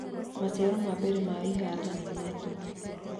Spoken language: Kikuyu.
Maciaro ma mbere ma ihinda na ma tũhũ.